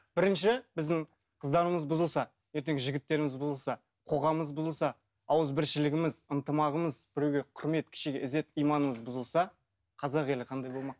бірінші біздің қыздарымыз бұзылса ертең жігіттеріміз бұзылса қоғамымыз бұзылса ауызбіршілігіміз ынтымағымыз біреуге құрмет кішіге ізет иманымыз бұзылса қазақ елі қандай болмақ